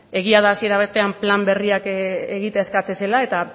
egia da hasiera batean plan berriak egitera eskatzen zela eta